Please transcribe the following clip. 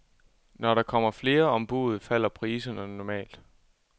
Når der kommer flere om buddet, falder priserne normalt.